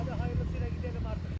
Qardaş, xeyirlisi ilə gedək artıq.